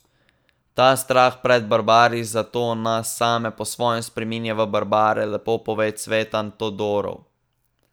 Ta strah pred barbari zato nas same po svoje spreminja v barbare, lepo pove Cvetan Todorov.